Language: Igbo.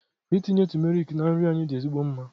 Ịtinye tumeric na nri anyị dị ezigbo mma.